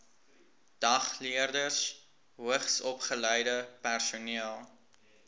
dagleerders hoogsopgeleide personeel